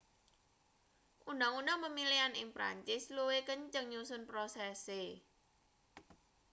undang-undang pemilihan ing perancis luwih kenceng nyusun prosese